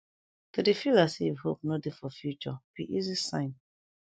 to de feel as if hope no de for future be easy sign